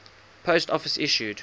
post office issued